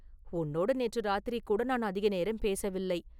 உன்னோடு நேற்று ராத்திரிகூட நான் அதிக நேரம் பேசவில்லை.